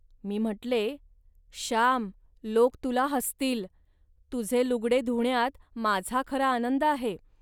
मी म्हटले, "श्याम, लोक तुला हसतील. तुझे लुगडे धुण्यात माझा खरा आनंद आहे